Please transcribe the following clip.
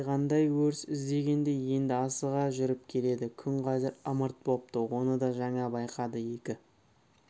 әлдеқандай өріс іздегендей енді асыға жүріп келеді күн қазір ымырт бопты оны да жаңа байқады екі